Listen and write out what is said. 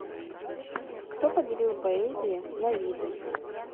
кто поделил поэзии на виды